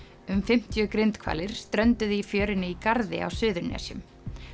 um fimmtíu grindhvalir strönduðu í fjörunni í Garði á Suðurnesjum